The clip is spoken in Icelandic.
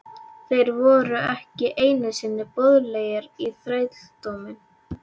Þeir voru ekki einu sinni boðlegir í þrældóminn!